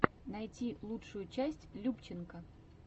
найти лучшую часть любченко